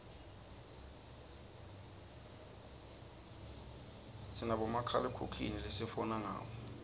sinabomakhalekhukhwini lesifona ngabo